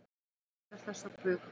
Jóhanna vísar þessu á bug.